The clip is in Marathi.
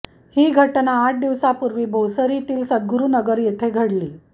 ही घटना आठ दिवसांपूर्वी भोसरीतील सदगुरुनगर येथे घडली